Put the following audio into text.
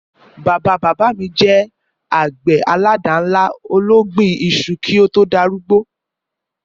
Bàbá-bàbá mi je àgbè àládànlá ológbin isu ki o to darúgbó